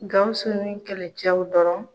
Gawusu ni kɛlɛcɛw dɔrɔn.